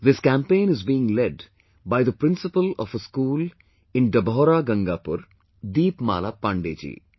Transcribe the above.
This campaign is being led by the principal of a school in Dabhaura Gangapur, Deepmala Pandey ji